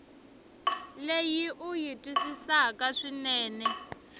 leyi u yi twisisaka swinene